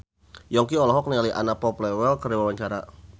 Yongki olohok ningali Anna Popplewell keur diwawancara